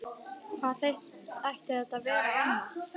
Hvað ætti þetta að vera annað?